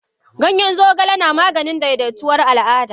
Ganyen zogale na Maganin daidaituwar Al Ada.